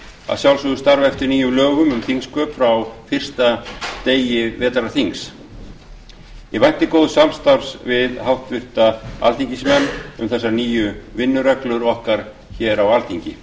vissulega starfa eftir nýjum lögum um þingsköp frá fyrsta degi vetrarþings ég vænti góðs samstarfs við háttvirta alþingismenn um þessar nýju vinnureglur okkar á alþingi